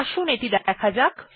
আসুন এটি দেখা যাক